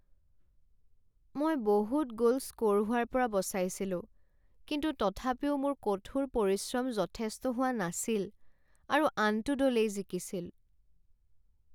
মই বহুত goal score হোৱাৰ পৰা বচাইছিলোঁ কিন্তু তথাপিও মোৰ কঠোৰ পৰিশ্ৰম যথেষ্ট হোৱা নাছিল আৰু আনটো দলেই জিকিছিল।